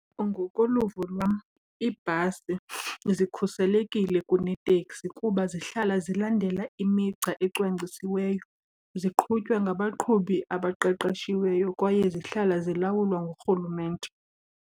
Ngokoluvo lwam iibhasi zikhuselekile kuneeteksi kuba zihlala zilandela imigca ecwangcisiweyo, ziqhutywa ngabaqhubi abaqeqeshiweyo kwaye zihlala zilawulwa ngurhulumente.